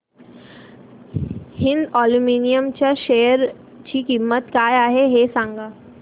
Hind aluminium च्या share ची किंमत काय आहे हे सांगा